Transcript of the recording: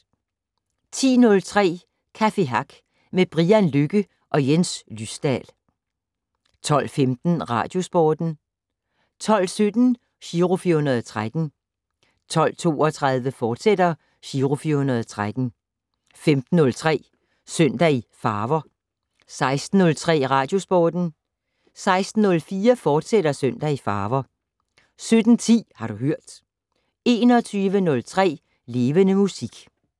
10:03: Café Hack med Brian Lykke og Jens Lysdal 12:15: Radiosporten 12:17: Giro 413 12:32: Giro 413, fortsat 15:03: Søndag i Farver 16:03: Radiosporten 16:04: Søndag i Farver, fortsat 17:10: Har du hørt 21:03: Levende Musik